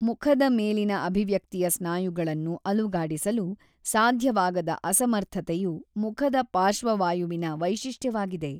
ಮುಖದ ಮೇಲಿನ ಅಭಿವ್ಯಕ್ತಿಯ ಸ್ನಾಯುಗಳನ್ನು ಅಲುಗಾಡಿಸಲು ಸಾಧ್ಯವಾಗದ ಅಸಮರ್ಥತೆಯು ಮುಖದ ಪಾರ್ಶ್ವವಾಯುವಿನ ವೈಶಿಷ್ಟ್ಯವಾಗಿದೆ.